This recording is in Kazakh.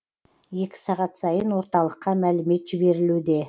екі сағат сайын орталыққа мәлімет жіберілуде